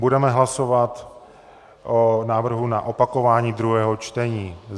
Budeme hlasovat o návrhu na opakování druhého čtení.